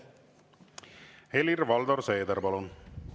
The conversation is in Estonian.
Helir-Valdor Seeder, palun!